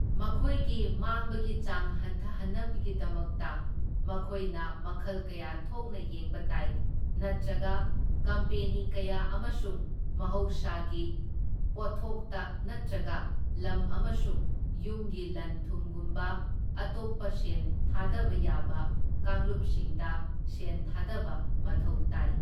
ꯃꯈꯣꯏꯒꯤ ꯃꯥꯡꯕꯒꯤ ꯆꯥꯡ ꯍꯟꯊꯍꯟꯅꯕꯒꯤꯗꯃꯛꯇ ꯃꯈꯣꯏꯅ ꯃꯈꯜ ꯀꯌꯥ ꯊꯣꯛꯅ ꯌꯦꯡꯕ ꯇꯥꯏ, ꯅꯠ꯭ꯇꯔꯒ ꯀꯝꯄꯦꯅꯤ ꯀꯌꯥ ꯑꯃꯁꯨꯡ ꯃꯍꯧꯁꯥꯒꯤ ꯄꯣꯠꯊꯣꯛꯇ ꯅꯠꯇ꯭ꯔꯒ ꯂꯝ ꯑꯃꯁꯨꯡ ꯌꯨꯝꯒꯤ ꯂꯟ ꯊꯨꯝꯒꯨꯝꯕ ꯑꯇꯣꯞꯄ ꯁꯦꯟ ꯊꯥꯗꯕ ꯌꯥꯕ ꯀꯥꯡꯂꯨꯞꯁꯤꯡꯗ ꯁꯦꯟ ꯊꯥꯗꯕ ꯃꯊꯧ ꯇꯥꯏ꯫